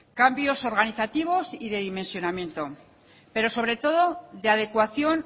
cambios organizativos y de dimensionamiento pero sobre todo de adecuación